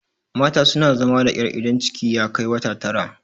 mata suna zama da ƙyar idan ciki ya Kai wata Tara